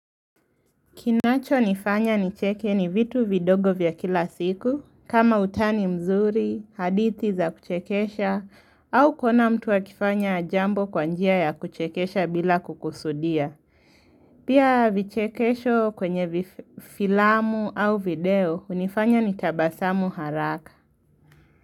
Kinacho nifanya nicheke ni vitu vidogo vya kila siku, kama utani mzuri, hadithi za kuchekesha, au kuona mtu akifanya jambo kwa njia ya kuchekesha bila kukusudia. Pia vichekesho kwenye filamu au video, hunifanya nitabasamu haraka.